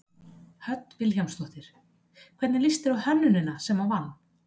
Hödd Vilhjálmsdóttir: Hvernig líst þér á hönnunina sem að vann?